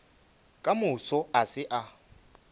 ka moso a se a